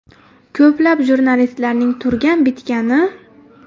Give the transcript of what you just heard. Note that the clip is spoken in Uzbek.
Ko‘plab jurnalistlarning turgan bitgani #####.